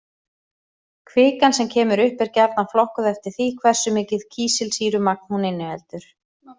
Kvikan sem kemur upp er gjarnan flokkuð eftir því hversu mikið kísilsýrumagn hún inniheldur.